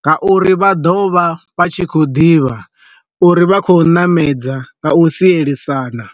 nga uri vha ḓo vha vha tshi khou ḓivha uri vha khou ṋamedza nga u sielisana.